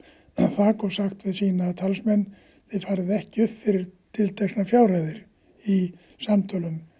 þak og sagt við sína talsmenn þið farið ekki upp fyrir tilteknar fjárhæðir í samtölum